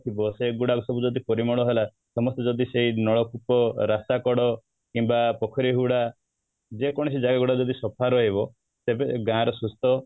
ଥିବ ସେଇଗୁଡ଼ାକ ସବୁ ଯଦି ପରିମଳ ହେଲା ସମସ୍ତେ ଯଦି ସେଇ ନଳକୂପ, ରାସ୍ତା କଡ କିମ୍ବା ପୋଖରୀ ହୁଡ଼ା ଯେକୌଣସି ଜାଗା ଗୁଡାକ ଯଦି ସଫା ରହିବ ସେବେ ଗାଁ ର ସୁସ୍ଥ